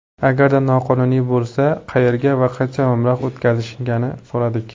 Agarda qonuniy bo‘lsa, qayerga va qancha mablag‘ o‘tkazishganini so‘radik.